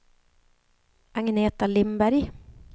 Agneta Lindberg